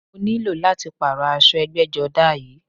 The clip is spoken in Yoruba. Mo ní lò láti pààrọ̀ aṣọ ẹgbẹ́jọdá yìí